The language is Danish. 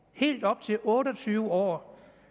helt op til otte og tyve år